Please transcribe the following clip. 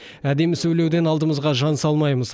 әдемі сөйлеуден алдымызға жан салмаймыз